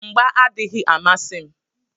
Mgbà adịghị amasị m.